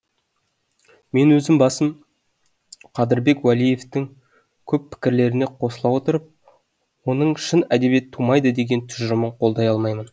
мен өзім басым қадырбек уәлиевтің көп пікірлеріне қосыла отырып оның шын әдебиет тумайды деген тұжырымын қолдай алмаймын